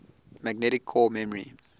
magnetic core memory